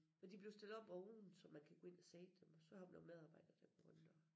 Og de er blevet stillet op oven så man kan gå ind og se dem og så har vi nogle medarbejdere der går rundt og